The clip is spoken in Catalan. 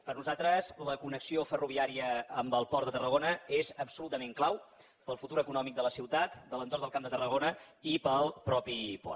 per nosaltres la connexió ferroviària amb el port de tarragona és absolutament clau per al futur econòmic de la ciutat de l’entorn del camp de tarragona i per al mateix port